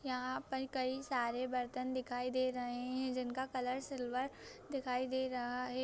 यहा पर कई सारे बर्तन दिखाई दे रहे है जिन का कलर सिल्वर दिखाई दे रहा है।